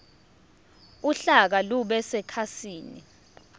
uhlaka lube sekhasini